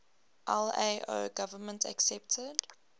lao government accepted